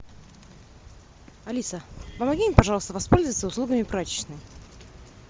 алиса помоги мне пожалуйста воспользоваться услугами прачечной